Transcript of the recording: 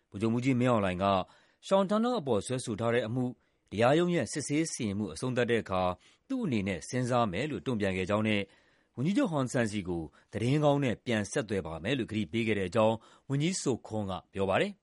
ဗိုလ်ချုပ်မှူးကြီးမင်းအောင်လှိုင် Sean Turnell အပေါ် စွဲဆိုထားတဲ့အမှု တရားရုံးရဲ့ စစ်ဆေးစီရင်မှု အဆုံးသတ်တဲ့အခါ သူ့အနေနဲ့ စဉ်းစားမယ်လို့ တုံ့ပြန်ခဲ့ကြောင်းနဲ့ ဝန်ကြီးချုပ်ဟွန်ဆန်ဆီကို သတင်းကောင်းနဲ့ ပြန်ဆက်သွယ်ပါ့မယ်လို့ ကတိပေးခဲ့တဲ့အကြောင်း ဝန်ကြီး Sokhonn က ပြောခဲ့ပါတယ်